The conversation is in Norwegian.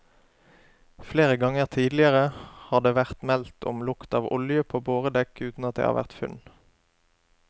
Flere ganger tidligere har det vært meldt om lukt av olje på boredekk uten at det har vært funn.